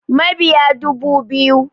Mabiya dubu biyu